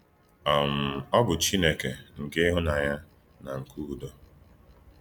um Ọ̀ bụ̀ “Chínèkè nke íhù́nànyà na nke ùdò.”